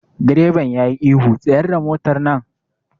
Direban yayi ihu 'Tsayar da motar nan'!